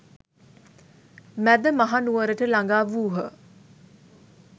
මැදමහනුවරට ළඟා වූහ.